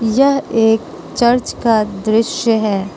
यह एक चर्च का दृश्य है।